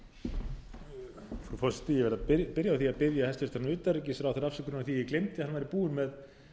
byrja á því að biðja hæstvirtan utanríkisráðherra afsökunar á því að ég gleymdi að hann væri búinn með